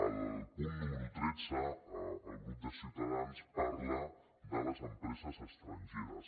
al punt número tretze el grup de ciutadans parla de les empreses estrangeres